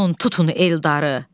Tez olun tutun Eldarı.